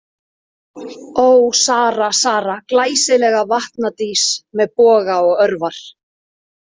Ó, Sara, Sara, glæsilega vatnadís með boga og örvar.